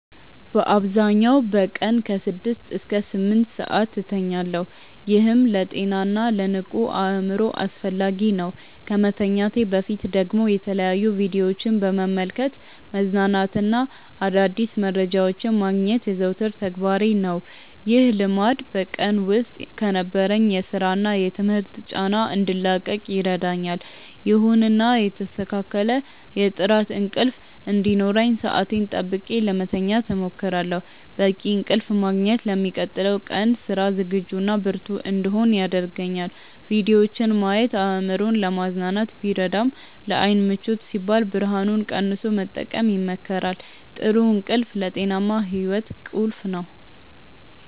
በአብዛኛው በቀን ከ6 እስከ 8 ሰዓት እተኛለሁ፤ ይህም ለጤናና ለንቁ አእምሮ አስፈላጊ ነው። ከመተኛቴ በፊት ደግሞ የተለያዩ ቪዲዮዎችን በመመልከት መዝናናትና አዳዲስ መረጃዎችን ማግኘት የዘወትር ተግባሬ ነው። ይህ ልማድ በቀን ውስጥ ከነበረኝ የሥራና የትምህርት ጫና እንድላቀቅ ይረዳኛል። ይሁንና የተስተካከለ የጥራት እንቅልፍ እንዲኖረኝ ሰዓቴን ጠብቄ ለመተኛት እሞክራለሁ። በቂ እንቅልፍ ማግኘት ለሚቀጥለው ቀን ስራ ዝግጁና ብርቱ እንድሆን ያደርገኛል። ቪዲዮዎችን ማየት አእምሮን ለማዝናናት ቢረዳም፣ ለዓይን ምቾት ሲባል ብርሃኑን ቀንሶ መጠቀም ይመከራል። ጥሩ እንቅልፍ ለጤናማ ሕይወት ቁልፍ ነው።